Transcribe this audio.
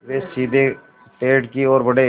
वे सीधे पेड़ की ओर बढ़े